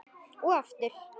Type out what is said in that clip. Og aftur.